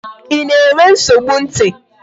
Ị na-enwe nsogbu ntị?